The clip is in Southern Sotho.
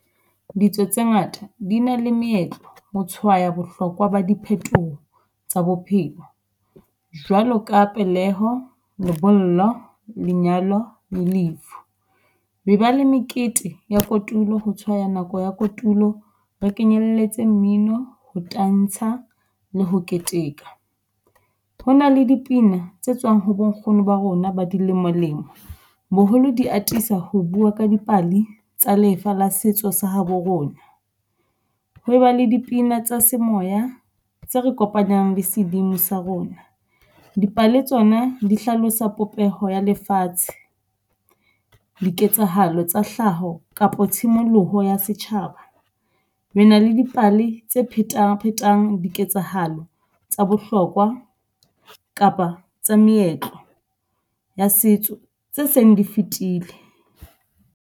Ditso tse ngata di na le meetlo ho tshwaya bohlokwa ba diphetoho tsa bophelo jwalo ka peleho, lebollo, lenyalo le lefu. Re ba le mekete ya kotulo ho tshwaya nako ya kotulo re kenyelletse mmino ho tantsha le ho keteka. Ho na le dipina tse tswang ho bonkgono ba rona ba di lemolemo. Boholo di atisa ho bua ka dipale tsa lefa la setso sa habo rona, ho e ba le dipina tsa semoya tse re kopanyang le sedimo sa rona. Dipale tsona di hlalosa popeho ya lefatshe, diketsahalo tsa hlaho kapa tshimoloho ya setjhaba. Re na le dipale tse phetaphetang, diketsahalo tsa bohlokwa kapa tsa meetlo ya setso tse seng di fitile.